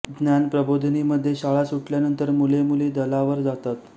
ज्ञान प्रबोधिनी मध्ये शाळा सुटल्यानंतर मुलेमुली दलावर जातात